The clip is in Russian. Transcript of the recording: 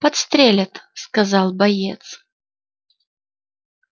подстрелят сказал боец